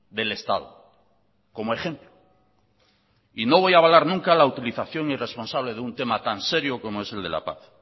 del estado como ejemplo y no voy a avalar nunca la utilización irresponsable de un tema tan serio como es el de la paz